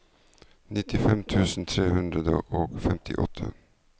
nittifem tusen tre hundre og femtiåtte